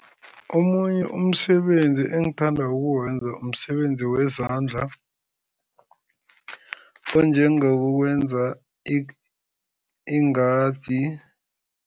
Omunye umsebenzi engithanda ukuwenza umsebenzi wezandla, onjengokwenza ingadi.